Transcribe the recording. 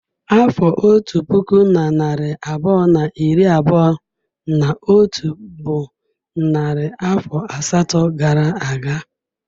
Afọ otu puku na narị abụọ na iri abụọ na atọ bụ narị afọ asatọ gara aga.